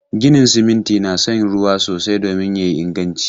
Ginin siminti na son ruwa sosai domin ya yi inganci.